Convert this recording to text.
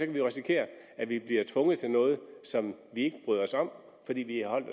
vi jo risikere at vi bliver tvunget til noget som vi ikke bryder os om fordi vi har holdt